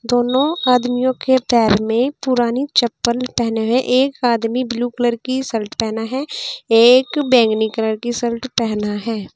दोनों आदमियों के पैर में पुरानी चप्पल पहने हुए एक आदमी ब्लू कलर की शर्ट पहना है एक बैंगनी कलर की शर्ट पहना है।